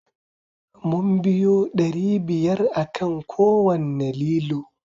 Mun biyu ɗari biyar akan kowanne lilo